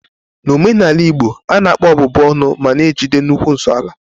N'omenala Igbo, a na-akpọ ọbụbụ ọnụ ma na-ejide nnukwu nsonaazụ.